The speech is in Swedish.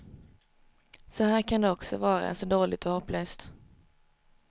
Så här kan det också vara, så dåligt och hopplöst.